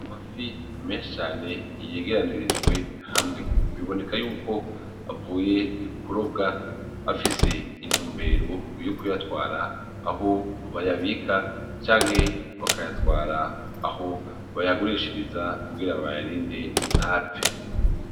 Amafi menshi cane yegeranirijwe hamwe biboneka yuko avuye kurobwa, afise intumbero yo kuyatwara aho bayabika canke bakayatwara aho bayagurishiriza kugira bayarinde ntapfe.